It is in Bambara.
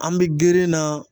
An be girin na